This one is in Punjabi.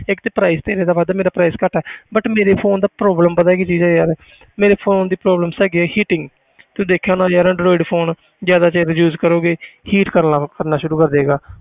ਇੱਕ ਤੇ price ਤੇਰੇ ਦਾ ਵੱਧ ਮੇਰਾ price ਘੱਟ ਹੈ but ਮੇਰੇ phone ਦਾ problem ਪਤਾ ਕੀ ਚੀਜ਼ ਹੈ ਯਾਰ ਮੇਰੇ phone ਦੀ problems ਹੈਗੀ ਹੈ heating ਤੂੰ ਦੇਖਿਆ ਹੋਣਾ ਯਾਰ android phone ਜ਼ਿਆਦਾ ਦੇਰ use ਕਰੋਗੇ heat ਕਰਨਾ ਕਰਨਾ ਸ਼ੁਰੂ ਕਰ ਦਏਗਾ।